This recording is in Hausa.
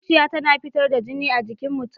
Zuciya tana fitar da jini a jikin mutum.